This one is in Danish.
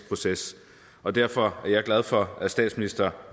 proces og derfor er jeg glad for at statsministeren